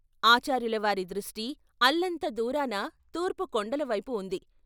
ఆచార్యుల వారి దృష్టి అల్లంత దూరాన తూర్పు కొండల వైపు ఉంది.